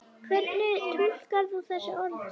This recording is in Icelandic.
Hvernig túlkar þú þessi orð?